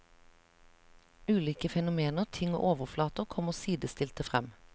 Ulike fenomener, ting og overflater kommer sidestilte frem.